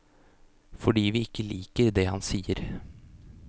Fordi vi ikke liker det han sier.